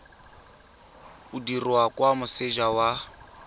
o dirwa kwa moseja wa